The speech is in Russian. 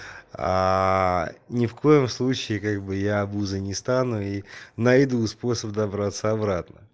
ни в коем случае как бы я обузой не стану и найду способ добраться обратно